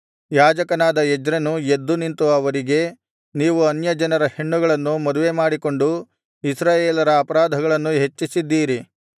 ಯಾಜಕನಾದ ಎಜ್ರನು ಎದ್ದು ನಿಂತು ಅವರಿಗೆ ನೀವು ಅನ್ಯಜನರ ಹೆಣ್ಣುಗಳನ್ನು ಮದುವೆಮಾಡಿಕೊಂಡು ಇಸ್ರಾಯೇಲರ ಅಪರಾಧಗಳನ್ನು ಹೆಚ್ಚಿಸಿದ್ದೀರಿ